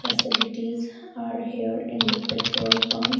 Facilities are here in the petrol pump.